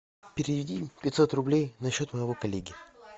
переведи пятьсот рублей на счет моего коллеги